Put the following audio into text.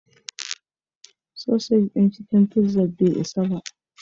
Sausage ɗin cikin pizzan bai isa ba.